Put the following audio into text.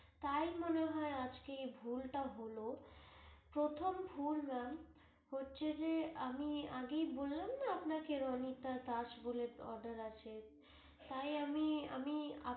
তাই মনে হয় আজকে এই ভুল টা হল, প্রথম ভুল ma'am হচ্ছে যে আমি আগেই বললাম না আপনাকে রণিতা দাস বলে order আছে তাই আমি আমি